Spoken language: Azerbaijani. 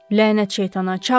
Lənət şeytana, çağır!